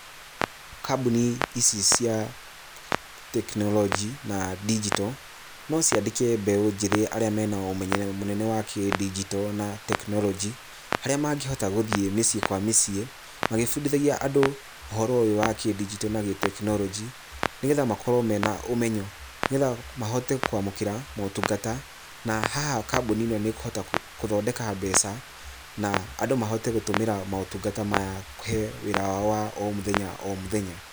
Kambuni ici cia tekinoronjĩ, na ndigito, no ciandĩke mbeũ njĩthĩ aria mena ũmenyi mũnene wa kĩndigito na tekinoronjĩ, harĩa mangĩhota gũthiĩ mĩciĩ kwa mĩciĩ, magĩbundithagia andũ ũhoro ũyũ wa kĩ-ndigito na gĩ-tekinoronjĩ, nĩgetha makorwo mena ũmenyo, nĩgetha mahote kwamũkĩra motungata, na haha kambuni ĩno nĩ ĩkuhota gũthondeka mbeca, na andũ mahote gũtũmĩra motungata maya kũhe wĩra wao wa o mũthenya o mũthenya.